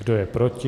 Kdo je proti?